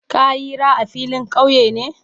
Ka yira a filin kauye?